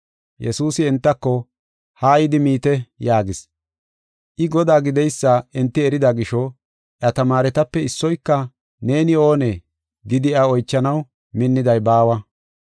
Yesuusi entako, “Haa yidi miite” yaagis. I Godaa gideysa enti erida gisho, iya tamaaretape issoyka, “Neeni oonee?” gidi iya oychanaw minniday baawa.